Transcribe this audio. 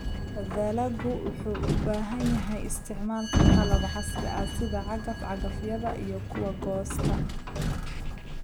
Dalaggu wuxuu u baahan yahay isticmaalka qalab casri ah sida cagaf-cagafyada iyo kuwa goosta.